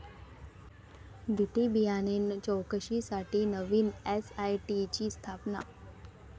BT बियाणे चौकशीसाठी नवीन एसआयटीची स्थापना